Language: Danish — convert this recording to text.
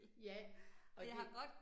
Ja, og det